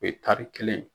O ye tari kelen